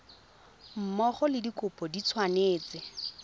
mmogo le dikopo di tshwanetse